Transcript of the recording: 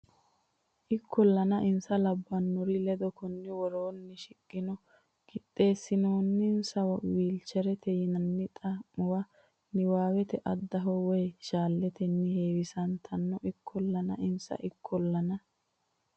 Ikkollana insa labbannori ledo konni woroonni shiqqino qixxeessinoonninsa wilcherete yinanni xa muwa niwaawete addaho woy shalleettenni heewisantanno Ikkollana insa Ikkollana.